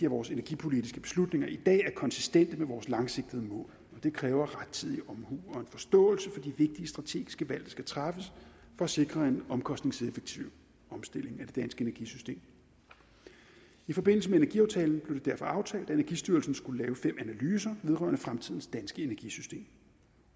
vores energipolitiske beslutninger i dag er konsistente med vores langsigtede mål og det kræver rettidig omhu og en forståelse for de vigtige strategiske valg der skal træffes for at sikre en omkostningseffektiv omstilling af det danske energisystem i forbindelse med energiaftalen blev det derfor aftalt at energistyrelsen skulle lave fem analyser vedrørende fremtidens danske energisystem